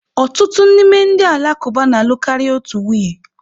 Ọtụtụ n'ime ndị Alakụba na-alụ karịa otu nwunye.